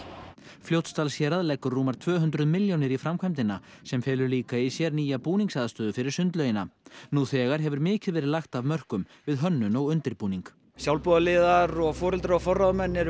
Fljótsdalshérað leggur rúmar tvö hundruð milljónir í framkvæmdina sem felur líka í sér nýja búningsaðstöðu fyrir sundlaugina nú þegar hefur mikið verið lagt af mörkum við hönnun og undirbúning sjálfboðaliðar og foreldrar og forráðamenn eru